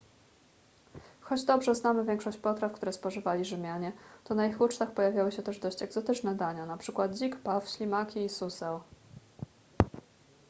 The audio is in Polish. choć dobrze znamy większość potraw które spożywali rzymianie to na ich ucztach pojawiały się też dość egzotyczne dania np dzik paw ślimaki i suseł